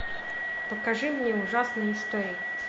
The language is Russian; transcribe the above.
покажи мне ужасные истории